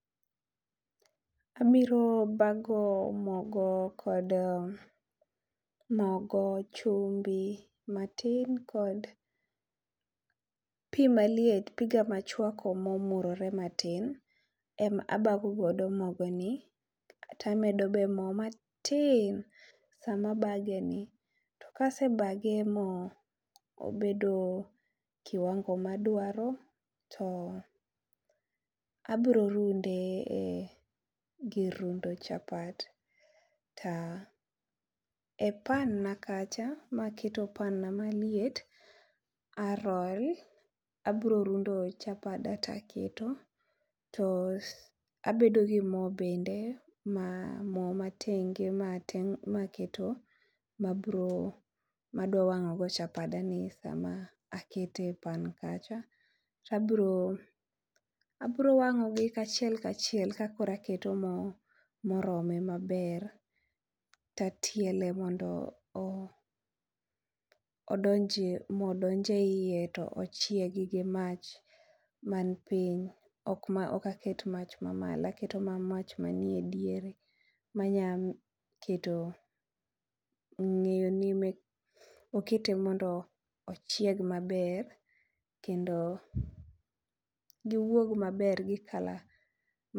Abiro bago mogo kod ,mogo, chumbi matin kod pi maliet piga machwako mo omurore ma tin ema abago godo mogo ni kaito amedo be moo matin saa ma abage ni .To ka asebage mo obedo kiwango ma adwaro to abiro runde e gir rundo chapat. Ta e pan na kacha ma keto pan na maliet, aroll abiro rundo chapada to aketo to abedo gi moo bende moo ma tenge ma keto ma biro ma adwa wang'o go chapada ni saa ma akete e pan kacha. To abiro abiro wango gi kaachiel kaachiel ka koro aketo moo ma oromo ma ber to atiele ma moo donjo e iye to chiegi gi mach man piny ok ok aket mach ma molo aketo mach ma ni e diere ma nya keto ngeyo ni okete mondo ochiek ma ber kendo gi wuog ma ber ma.